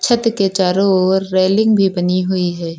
छत के चारों ओर रेलिंग भी बनी हुई है।